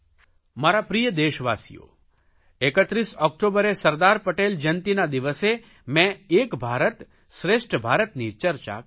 મારા પ્રિય દેશવાસીઓ 31 ઓકટોબરે સરદાર પટેલ જયંતિના દિવસે મે એક ભારત શ્રેષ્ઠ ભારતની ચર્ચા કરી હતી